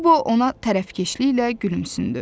Qobo ona tərəfkeşliklə gülümsündü.